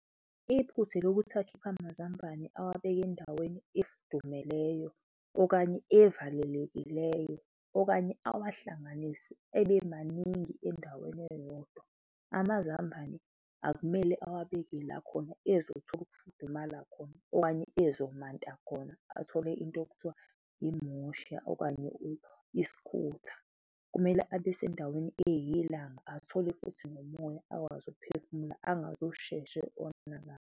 Iphutha elokuthi akhiphe amazambane awabeke endaweni efudumeleyo okanye evalelekileyo okanye awahlanganise ebe maningi endaweni eyodwa. Amazambane akumele awabeke la khona ezothola ukufudumala khona okanye ezomanta khona athole into ekuthiwa imosha okanye isikhutha, kumele abe sendaweni eyiyelanga, athole futhi nomoya akwazi ukuphefumula angazosheshe onakale.